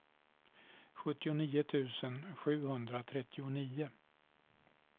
sjuttionio tusen sjuhundratrettionio